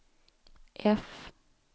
F